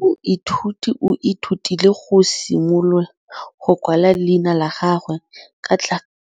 Moithuti o ithutile go simolola go kwala leina la gagwe